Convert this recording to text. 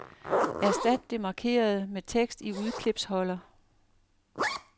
Erstat det markerede med tekst i udklipsholder.